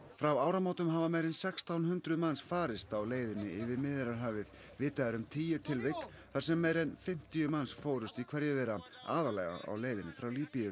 frá áramótum hafa meira en sextán hundruð manns farist á leiðinni yfir Miðjarðarhafið vitað er um tíu tilvik þar sem meira en fimmtíu manns fórust í hverju þeirra aðallega á leiðinni frá Líbíu